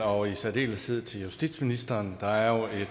og i særdeleshed til justitsministeren der er jo